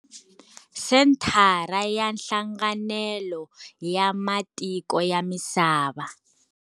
Senthara ya Hlanganelo ya Matiko ya Misava.